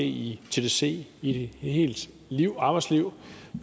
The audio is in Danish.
i tdc et helt arbejdsliv